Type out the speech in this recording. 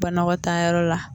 Banɔgɔtaayɔrɔ la